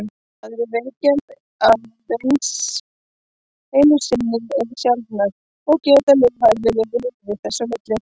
Aðrir veikjast aðeins einu sinni eða sjaldan og geta lifað eðlilegu lífi þess á milli.